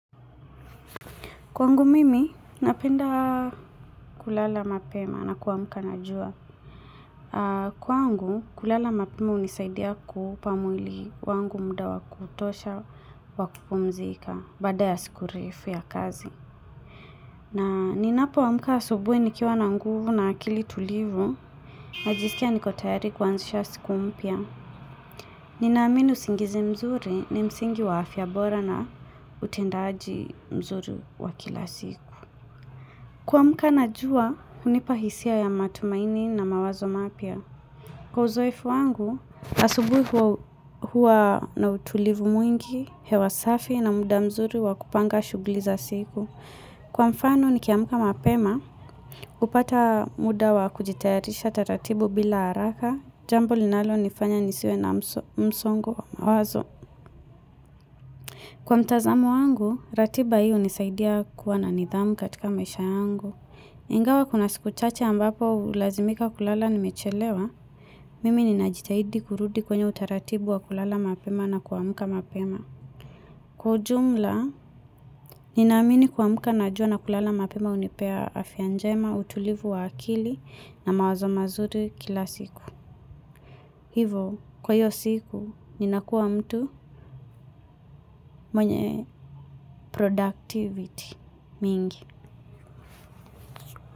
Kwangu mimi, napenda kulala mapema na kwamuka na jua. Kwangu, kulala mapema unisaidia kuupa muili wangu muda wa kutosha wakupumzika bada ya siku refu ya kazi. Na ninapo amuka asubui ni kiwa na nguvu na akili tulivu, najisikia nikotayari kwanzisha siku mpia. Ninamini usingizi mzuri ni msingi wa afia bora na utendaji mzuri wakila siku. Kwamuka na juwa, unipahisia ya matumaini na mawazo mapia. Kwa uzoefu wangu, asubui huwa na utulivu mwingi, hewasafi na muda mzuri wa kupanga shugli za siku. Kwa mfano, nikiamuka mapema, upata muda wa kujitayatisha tatatibu bila haraka, jambo linalo nifanya nisiwe na msongo wa mawazo. Kwa mtazamo wangu, ratiba hi unisaidia kuwa na nidhamu katika maisha yangu. Ingawa kuna siku chache ambapo ulazimika kulala nimechelewa, mimi ninajitahidi kurudi kwenye utaratibu wa kulala mapema na kuamuka mapema. Kwa ujumla, ninamini kuamuka na jua na kulala mapema unipea afia njema, utulivu wa akili na mawazo mazuri kila siku. Hivo, kwa iyo siku, ninakua mtu mwenye productivity mingi.